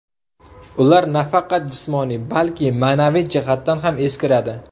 Ular nafaqat jismoniy, balki ma’naviy jihatdan ham eskiradi.